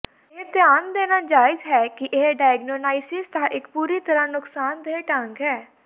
ਇਹ ਧਿਆਨ ਦੇਣਾ ਜਾਇਜ਼ ਹੈ ਕਿ ਇਹ ਡਾਇਗਨੌਨਾਈਸਿਸ ਦਾ ਇੱਕ ਪੂਰੀ ਤਰ੍ਹਾਂ ਨੁਕਸਾਨਦੇਹ ਢੰਗ ਹੈ